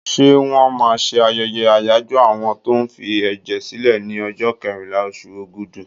Ṣé wọ́n máa ṣe ayẹyẹ àyájọ́ àwọn tó ń fi ẹ̀jẹ̀ sílè ní ọjọ́ kẹrìnlá, oṣù Ogúdù.